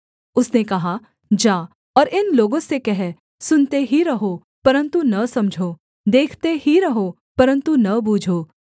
उसने कहा जा और इन लोगों से कह सुनते ही रहो परन्तु न समझो देखते ही रहो परन्तु न बूझो